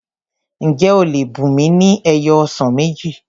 Ǹjẹ́ o lè bùnmi ni ẹyọ ọsàn méjì?